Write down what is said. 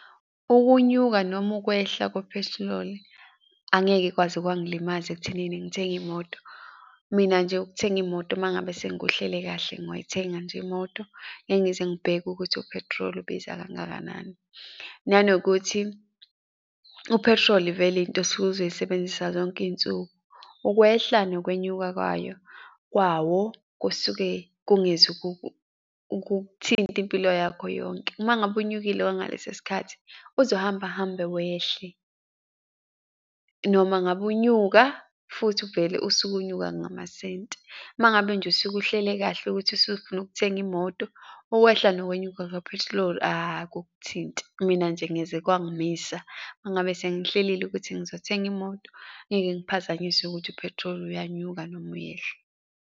Ukunyuka noma ukwehla kwephethiloli, angeke kwaze kwangilimaza ekutheneni ngithenge imoto. Mina nje ukuthenga imoto mangabe sengikuhlele kahle, ngoyithenga nje imoto. Ngeke ngize ngibheke ukuthi u-petrol ubiza kangakanani. Nanokuthi u-petrol vele into osuke uzoyisebenzisa zonke iy'nsuku, ukwehla nokwenyuka kwayo, kwawo kusuke kungeze ukukthinta impilo yakho yonke. Uma ngabe unyukile wangaleso sikhathi uzohamba uhambe wehle, noma ngabe unyuka futhi uvele usuke unyuka ngamasenti. Uma ngabe nje usuke uhlele kahle ukuthi usufuna ukuthenga imoto, ukwehla nokwenyuka kaphethiloli akukuthinti, mina nje ngeze kwangimisa, mangabe sengiyihlelile ukuthi ngizothenga imoto, ngeke ngiphazanyisea ukuthi u-petrol uyanyuka noma uyehla.